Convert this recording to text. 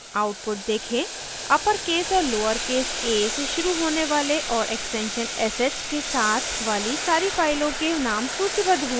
output देखें uppercase और lowercase a से शुरू होने वाले और extension sh के साथ वाली सारे फाइलों के names सूचीबद्ध हुए हैं